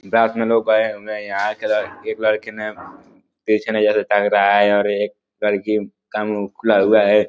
में लोग आये हुवे हैं। यहाँ एक लड़की ने पिछ ने जैसा टंग रहा है और एक लड़की का मुँह खुला हुवा है।